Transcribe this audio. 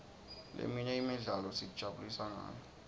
leminye imidlalo sitijabulisa ngayo